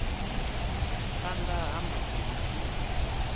phana ha musi hu tshi